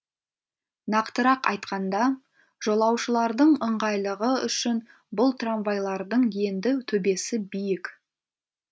нақтырақ айтқанда жолаушылардың ыңғайлығы үшін бұл трамвайлардың енді төбесі биік